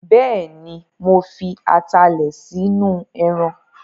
Bẹ́ẹ̀ni, mo fi atalẹ̀ sínú ẹran